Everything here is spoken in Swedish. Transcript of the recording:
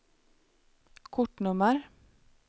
kortnummer